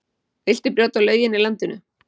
Viltu brjóta lögin í landinu?